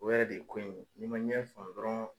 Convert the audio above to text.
O yɛrɛ de ye ko in ni ma ɲɛ faamu dɔrɔn.